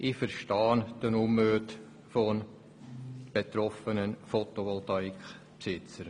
Ich verstehe den Unmut der betroffenen PVA-Besitzer.